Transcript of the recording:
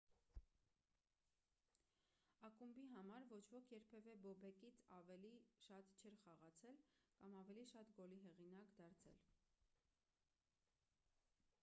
ակումբի համար ոչ ոք երբևէ բոբեկից ավելի շատ չէր խաղացել կամ ավելի շատ գոլի հեղինակ դարձել